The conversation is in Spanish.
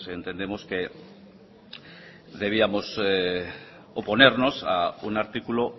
entendemos que debiéramos oponernos a un artículo